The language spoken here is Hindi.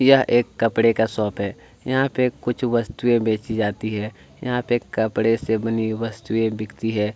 यह एक कपड़े का शॉप है यहाँ पे कुछ वस्तुए बेची जाती है यहाँ पे कपड़े एवं वस्तुए बिकती है।